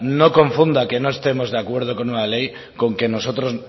no confunda que no estemos de acuerdo con una ley con que nosotros